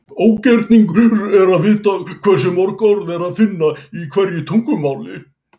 Ógerningur er að vita hversu mörg orð er að finna í hverju tungumáli.